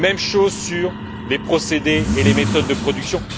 Même chose sur les procédés et les méthodes de production.